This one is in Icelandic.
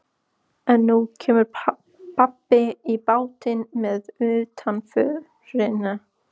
En nú kemur babb í bátinn með utanförina.